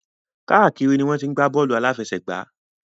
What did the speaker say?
Káàkiri ni wọ́n ti ń gbá bọ́ọ̀lù àláfẹsẹ̀gbá.